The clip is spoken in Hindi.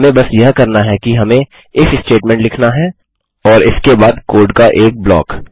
हमें बस यह करना है कि हमें इफ स्टेटमेंट लिखना है और इसके बाद कोड का एक ब्लॉक